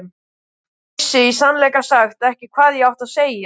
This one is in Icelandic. Vissi í sannleika sagt ekki hvað ég átti að segja.